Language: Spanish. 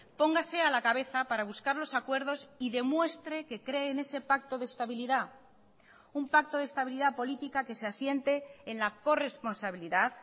póngase a la cabeza para buscar los acuerdos y demuestre que cree en ese pacto de estabilidad un pacto de estabilidad política que se asiente en la corresponsabilidad